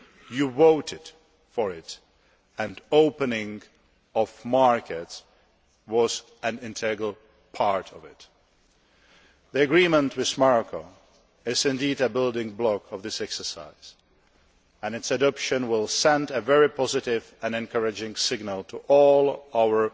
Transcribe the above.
You voted for it, and the opening of markets was an integral part of it. The agreement with Morocco is indeed a building block of this exercise, and its adoption will send a very positive and encouraging signal to all our